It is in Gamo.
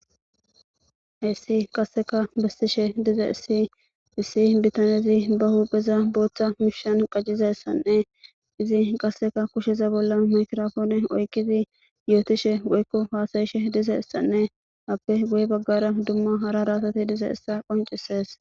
heessi qasseka bissishe dize issi issi bitanezi ba huupheza booththa mishshan qajciza ssanne izi qasseka kusheza bolla makrofoone oykizi yootishe woykko faasayishe dize issanne appe guye baggara dumma hara raatate dize issa qoncisees